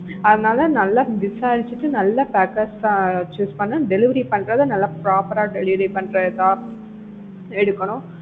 அதனால நல்லா விசாரிச்சுட்டு நல்ல packers ஆ choose பண்ணி delivery பண்றத நல்லா proper ஆ delivery பண்ற இதா எடுக்கணும்.